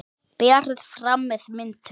Berið fram með mintu.